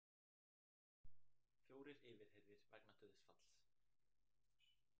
Fjórir yfirheyrðir vegna dauðsfalls